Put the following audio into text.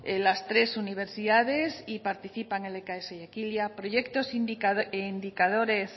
las tres universidades y participan lks y proyectos e indicadores